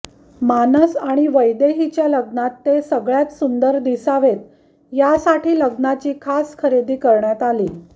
मानस आणि वैदेहीच्या लग्नात ते सगळ्यात सुंदर दिसावेत यासाठी लग्नाची खास खरेदी करण्यात आली